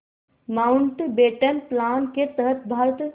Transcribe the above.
Mountbatten plan के तहत भारत